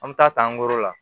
An bɛ taa ta an bolo la